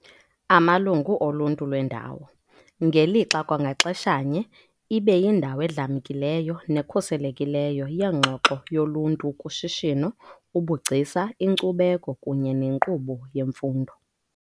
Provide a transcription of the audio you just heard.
amalungu oluntu lwendawo, ngelixa kwangaxeshanye ibe yindawo edlamkileyo nekhuselekileyo yengxoxo yoluntu kushishino, ubugcisa, inkcubeko kunye nenkqubo yemfundo.